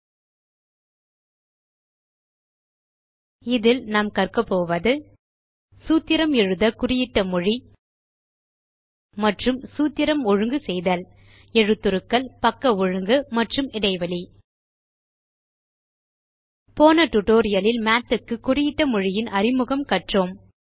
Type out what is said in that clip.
இந்த டியூட்டோரியல் லில் பின் வருவனவற்றை கற்போம் சூத்திரம் எழுத குறியிட்ட மொழி மற்றும் சூத்திரம் ஒழுங்கு செய்தல் எழுத்துருக்கள் பக்க ஒழுங்கு மற்றும் இடைவெளி போன டியூட்டோரியல் இல் மாத் க்கு குறியிட்ட மொழியின் அறிமுகம் கண்டோம்